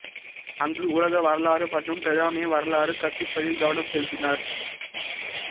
அங்கு உலக வரலாறு மற்றும் பிரித்தானிய வரலாறு கற்பிப்பதில் கவனம் செலுத்தினார்